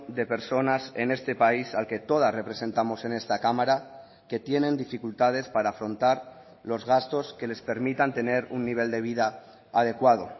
de personas en este país al que todas representamos en esta cámara que tienen dificultades para afrontar los gastos que les permitan tener un nivel de vida adecuado